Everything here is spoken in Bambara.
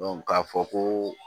k'a fɔ ko